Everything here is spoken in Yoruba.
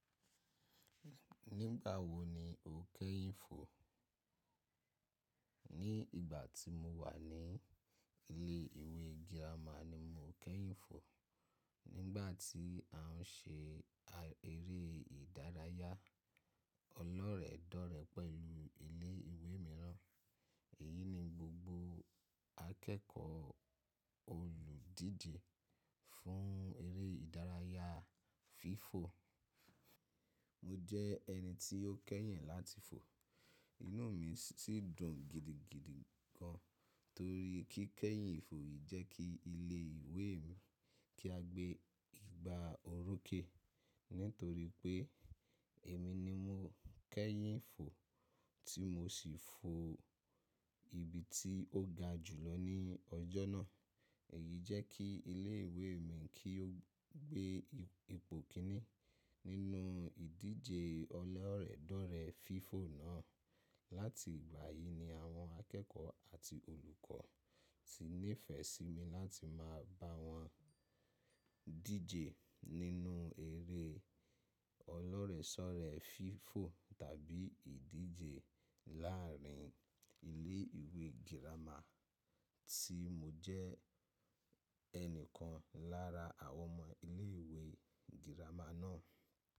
Nígbà wo ni o kẹ́yìn fo? Ní ìgbà tí mo wà ní ilé ìwé girama ni mo kẹ́yìn fo. Nígbà tí à ń ṣe eré ìdárayá ọlọ́rẹ̀ẹ̀dọ́rẹ̀ pẹ̀lú ilé ìwé mìíràn. Èyí ni gbogbo akẹ́kọ̀ọ́ olùdíje fún eré ìdárayá FIFO. Mo jẹ́ ẹni tí ó kẹ́yìn láti fo. Inú mi sì dùn gidigidi gan torí kí kẹ́yìn ìfò yìí jẹ́ kí ilé ìwé mi kí a gbé ìgbà orokẹ. Nítorí pé èmi ni mo kẹ́yìn fo tí mo sì fo ibi tí ó ga jùlọ ní ọjọ́ náà. Èyí jẹ́ kí ilé ìwé mi kí ó gbé ipò kíní nínú ìdíje ọlọ́rẹ̀ẹ̀dọ̀rẹ̀ FIFO náà. Láti ìgbà yìí ni àwọn akẹ́kọ̀ọ́ àti olùkọ́ ti nífẹ̀ẹ́ sí mi láti máa bá wọn díje nínú eré ọlọ́rẹ̀sọ́rẹ̀ FIFO tàbí ìdíje láàárín ilé ìwé girama tí mo jẹ́ ẹnìkan lára àwọn ọmọ ilé ìwé girama náà.